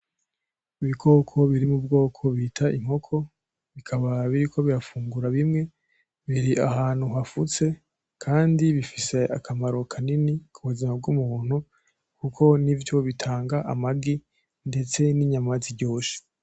Ibikoko biri mu bwoko bita inkoko bikaba biriko birafungura bimwe. Biri ahantu hafutse kandi bifise akamaro kanini ku buzima bw'umuntu kuko nivyo bitanga amagi, ndetse n'inyama ziryoshe.